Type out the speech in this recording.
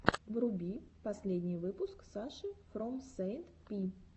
вруби последний выпуск саши фром сэйнт пи